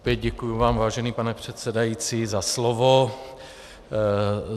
Opět děkuji vám, vážený pane předsedající, za slovo.